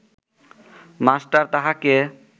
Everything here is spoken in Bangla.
মাস্টার তাহাকে